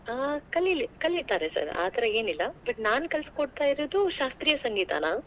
ಹಾ ಕಲಿಲಿ ಕಲಿತಾರೆ sir ಆ ತರಾ ಏನಿಲ್ಲಾ, but ನಾನ್ ಕಲಿಸಿ ಕೊಡ್ತಾಯಿರೋದು ಶಾಸ್ತ್ರೀಯ ಸಂಗೀತಾನಾ.